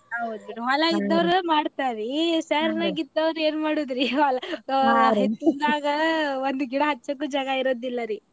ಹೌದ್ ಹೊಲಾ ಇದ್ದವ್ರ ಮಾಡತಾರಿ ಏನ ಮಾಡೋದರಿ ಹಿತ್ಲಾಗ ಒಂದ ಗಿಡಾ ಹಚ್ಚಾಕು ಜಾಗಾ ಇರೋದಿಲ್ಲಾ ರಿ.